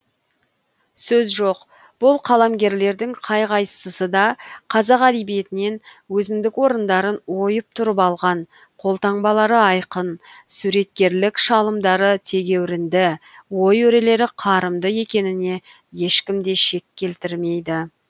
сөз жоқ бұл қаламгерлердің қай қайсысы да қазақ әдебиетінен өзіндік орындарын ойып тұрып алған қолтаңбалары айқын суреткерлік шалымдары тегеуірінді ой өрелері қарымды екеніне ешкім де шек келтірмейді